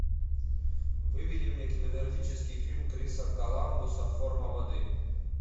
выведи мне кинематографический фильм криса коламбуса форма воды